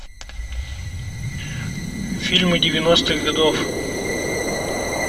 фильмы девяностых годов